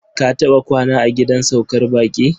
Ka taɓa kwana a gidan saukar baƙi?